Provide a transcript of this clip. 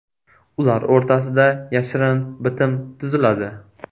Ular o‘rtasida yashirin bitim tuziladi.